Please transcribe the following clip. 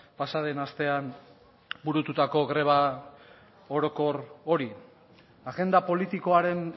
pasa den astean burututako greba orokor hori agenda politikoaren